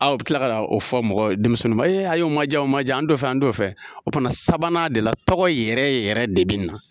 Aa o kila ka n'o fɔ mɔgɔw ye denmisɛnnun ba ee ayi o ma ja o ma ja an don fɛ an don fɛ o kila sabanan de la tɔgɔ yɛrɛ yɛrɛ de be na